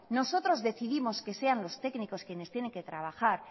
nosotros decidimos que sean los técnicos quienes tienen que trabajar